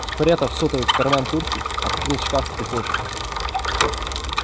спрятав сотовый в карман куртки открыл шкаф в прихожей